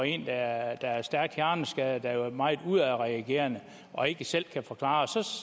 en der er stærkt hjerneskadet og som er meget udadreagerende og ikke selv kan forklare